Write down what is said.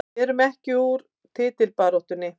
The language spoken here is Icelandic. Við erum ekki úr titilbaráttunni